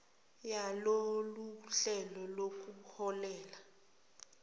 yalolu hlelo nokuholele